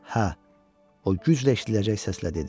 Hə, o güclə eşidiləcək səslə dedi.